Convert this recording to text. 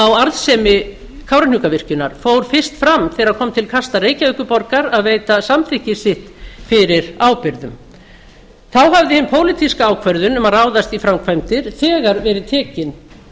á arðsemi kárahnjúkavirkjunar fór fyrst fram þegar kom til kasta reykjavíkurborgar að veita samþykki sitt fyrir ábyrgðum þá hafði hin pólitíska ákvörðun um að ráðast í framkvæmdir þegar verið tekin